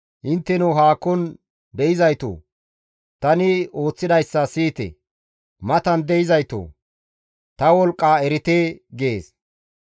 Intteno haakon de7izaytoo! tani ooththidayssa siyite; matan dizaytoo! Ta wolqqaa erite» gees.